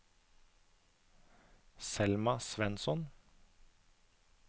Selma Svensson